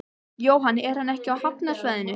Jóhann: Er hann ekki á hafnarsvæðinu?